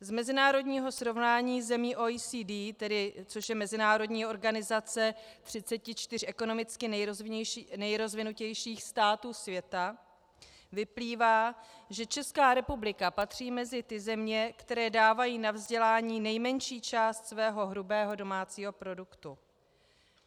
Z mezinárodního srovnání zemí OECD, což je mezinárodní organizace 34 ekonomicky nejrozvinutějších států světa, vyplývá, že Česká republika patří mezi ty země, které dávají na vzdělání nejmenší část svého hrubého domácího produktu.